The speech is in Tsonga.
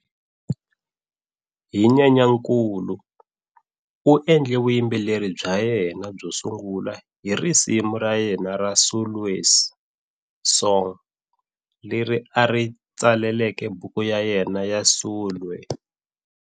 Hi Nyenyankulu, u endle vuyimbeleri bya yena byo sungula hi risimu ra yena ra"Sulwe's Song", leri a ri tsaleleke buku ya yena"ya Sulwe".